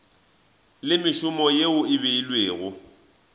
le mešomo yeo e beilwego